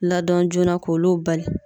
Ladɔn joona k'olu bali.